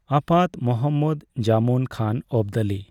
ᱟᱯᱟᱛ ᱢᱚᱦᱦᱚᱢᱚᱫᱽ ᱡᱟᱢᱚᱱ ᱠᱷᱟᱱ ᱚᱵᱽᱫᱟᱞᱤ ᱾